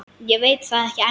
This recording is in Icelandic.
Ég veit það ekki ennþá.